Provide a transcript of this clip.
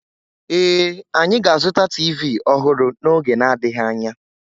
Ee, anyị ga-azụta TV ọhụrụ n'oge n'adịghị anya